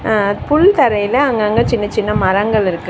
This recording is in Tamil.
அ புல் தரைல அங்கங்க சின்ன சின்ன மரங்களிருக்கு.